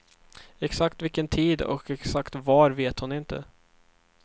Exakt vilken tid och exakt var vet hon inte.